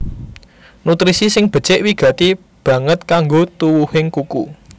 Nutrisi sing becik wigati banget kanggo tuwuhing kuku